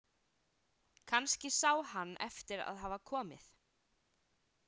Kannski sá hann eftir að hafa komið.